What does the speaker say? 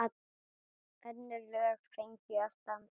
Önnur lög fengju að standa.